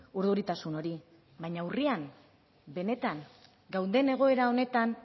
urduritasun hori baina urrian benetan gauden egoera honetan